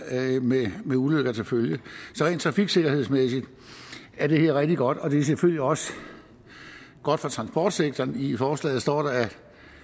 med ulykker til følge så rent trafiksikkerhedsmæssigt er det rigtig godt og det er selvfølgelig også godt for transportsektoren i forslaget står der at